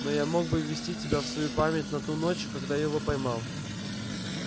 но я мог бы ввести тебя в свою память на ту ночь когда я его поймал